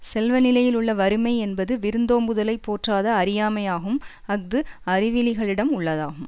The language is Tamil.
செல்வநிலையில் உள்ள வறுமை என்பது விருந்தோம்புதலைப் போற்றாத அறியாமையாகும் அஃது அறிவிலிகளிடம் உள்ளதாகும்